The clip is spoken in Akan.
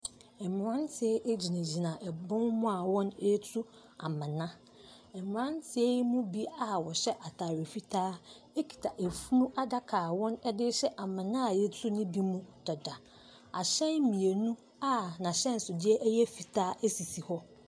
Mmeranteɛ gyinagyina bɔn mu a wɔretu amona, aberanteɛ yi mu bi a wɔhyɛ ataare fitaa kita funu adaka a wɔde rehyɛ amona yɛtu ne bi mu dada, ahyɛn mmienu a n’ahyɛnsodeɛ yɛ fitaa si hɔ.